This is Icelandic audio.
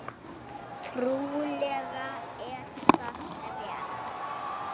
Trúlega er það rétt.